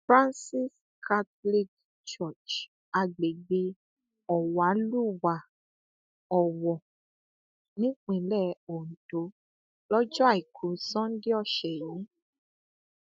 francis catholic church agbègbè ọwàlúwà owó nípínlẹ ondo lọjọ àìkú sanńdé ọsẹ yìí